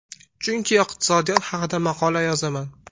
Chunki iqtisodiyot haqida maqola yozaman.